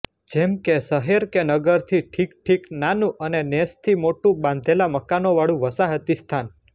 જેમ કે શહેર કે નગરથી ઠીક ઠીક નાનું અને નેસથી મોટું બાંધેલા મકાનોવાળું વસાહતી સ્થાન